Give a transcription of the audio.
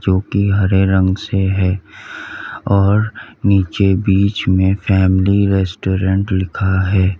वो की हरे रंग से है और नीचे बीच में फैमिली रेस्टोरेंट लिखा है।